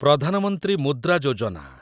Pradhan Mantri Mudra Yojana